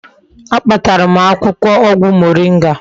A kpatara m akwukwo ogwu moringa